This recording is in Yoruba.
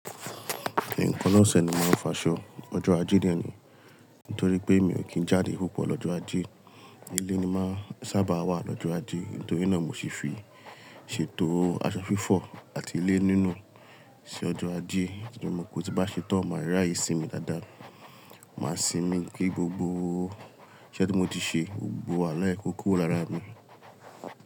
Nǹkan lọ́sẹ̀ ni màá fọ aṣọ, ọjọ́ ajé dẹni, nítorí pé mi ò kí n jáde púpọ̀ lọ́jọ́ ajé. Ilé ni màá sábà wà lọ́jọ́ ajé, nítorí náà mo sì fi ṣètò aṣọ fífọ̀ àti ilé nínú ṣi ọjọ́ ajé tori mo mò pe tí bá ṣetán, màá ràye sínmi dáadáa. Màá sinmi kí gbogbo iṣẹ́ tí mo ti ṣe, gbogbo wahala e ko kúro lára mi.